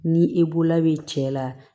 Ni e bolola bɛ cɛ la